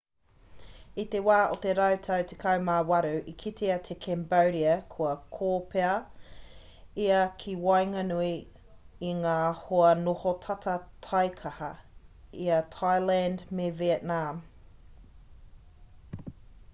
i te wā o te rautau 18 i kitea e cambodia kua kōpēa ia ki waenganui i ngā hoa noho tata taikaha i a thailand me vietnam